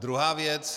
Druhá věc.